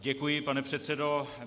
Děkuji, pane předsedo.